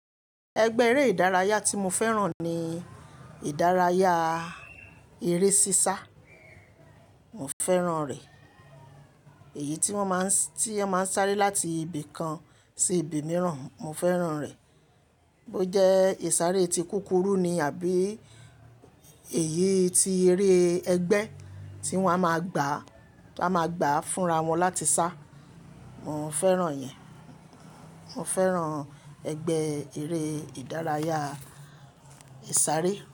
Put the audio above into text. Ẹgbẹ́ eré ìdárayá tí mo fẹ́ràn ni ìdárayá eré sísá. Mo fẹ́ràn rẹ̀. Èyí tí wọ́n máa ń, tí ẹ máa ń sáré láti ibì kan sí ibì míràn, mo fẹ́ràn rẹ̀. Bo jẹ́ ìsáré tí kúkúrú ni àbí èyí tí eré ẹgbẹ́ tí wọ́n á máa gbà, wọ́n á máa gbà fúnra wọn láti sá. Mo fẹ́ràn ìyẹn. Mo fẹ́ràn ẹgbẹ́ eré ìdárayá ìsáré.